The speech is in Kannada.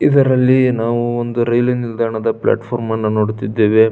ಇದರಲ್ಲಿ ನಾವು ಒಂದು ರೈಲ್ವೆ ನಿಲ್ದಾಣದ ಫ್ಲಾಟ್ ಫಾರಂ ಅನ್ನ ನೋಡತಾ ಇದ್ದೇವೆ.